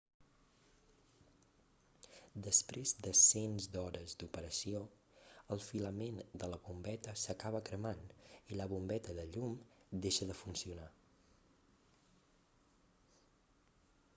després de cents d'hores d'operació el filament de la bombeta s'acaba cremant i la bombeta de llum deixa de funcionar